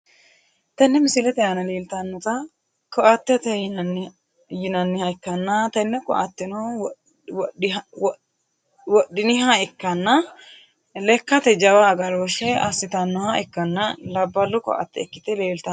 Tenne misilete aana leeltanota ko`atete yinaniha ikkana tene ko`ateno wodhiniha ikkanna lekkate jawa agarooshe asitanoha ikkana labalu koate ikite leeltano.